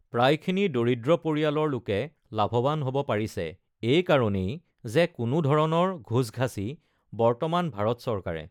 প্ৰায়খিনি দৰিদ্ৰ পৰিয়ালৰ লোকে লাভৱান হ'ব পাৰিছে এই কাৰণেই যে কোনো ধৰণৰ ঘোচ-ঘাচি বৰ্তমান ভাৰত চৰকাৰে